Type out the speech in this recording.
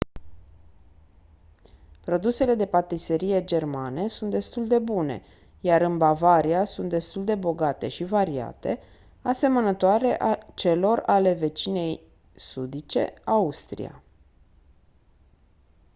produsele de patiserie germane sunt destul de bune iar în bavaria sunt destul de bogate și variate asemănătoare celor ale vecinei sudice austria